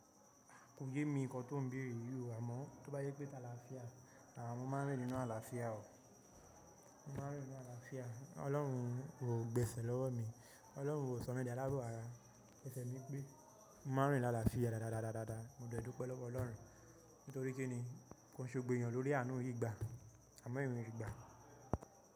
Kò yé mi ǹkan tó n béèrè yíò àmọ́ tó bá jẹ́ pé taláfíà, à mo máa rìn nínú aláfíà o. Mo máa rìn nínú aláfíà. Ọlọ́run o gbẹ̀sẹ̀ lọ́wọ́ mi, Ọlọ́run o sọ mí ní alábọ̀ ara. Esẹ̀ mi pé mo máa rìn ní aláfíà dáadáa dáadáa dáadáa. Mo dọdẹ ẹ́ dúpé lọ́wọ́ Ọlọ́run nítorí kí ni, kò ṣe gbogbo èèyàn lórí àánú yíì gba àmọ́ ìwé ìgbà.